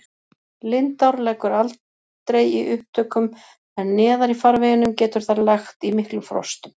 Lindár leggur aldrei í upptökum en neðar í farveginum getur þær lagt í miklum frostum.